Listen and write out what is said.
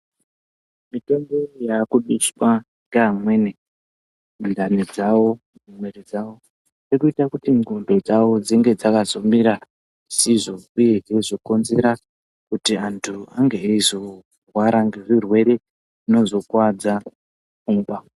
Mitombo yakuiswa ngeamweni mundani dzavo, mumwiri dzavo irikuita kuti ndxondo dzavo dzinge dzakazomira zvisizvo uye zveizokonzera kuti antu ange eyizorwara ngezvirwere zvinozo kuvadza pfungwa.